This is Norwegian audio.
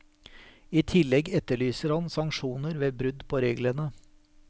I tillegg etterlyser han sanksjoner ved brudd på reglene.